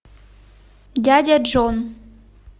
дядя джон